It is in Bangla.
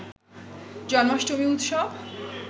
জন্মাষ্টমী উৎসব